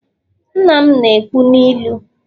nna m na-ekwu n'ilu